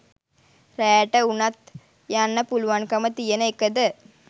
රෑට උනත් යන්න පුලුවන්කම තියෙන එකද?